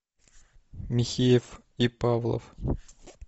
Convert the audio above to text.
михеев и павлов